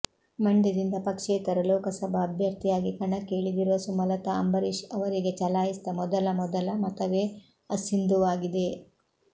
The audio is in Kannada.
ಮಂಡ್ಯದಿಂದ ಪಕ್ಷೇತರ ಲೋಕಸಭಾ ಅಭ್ಯರ್ಥಿಯಾಗಿ ಕಣಕ್ಕೆ ಇಳಿದಿರುವ ಸುಮಲತಾ ಅಂಬರೀಶ್ ಅವರಿಗೆ ಚಲಾಯಿಸಿದ ಮೊದಲ ಮೊದಲ ಮತವೇ ಅಸಿಂಧುವಾಗಿದೆ